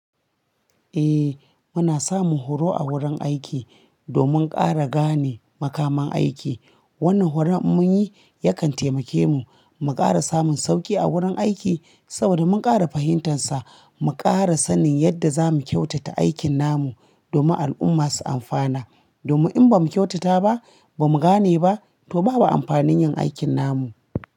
Eh muna samun horo a wurin aiki domin ƙara gane makaman aiki. Wannan horon in mun yi yakan taimake mu mu ƙara samun sauƙi a wurin aiki saboda mun ƙara fahimtansa. Mu ƙara sanin yadda za mu kyautata aikin namu domin al'umma su amfana. Domin in ba mu kyautata ba, ba mu gane ba, to babu amfanin yin aikin namu.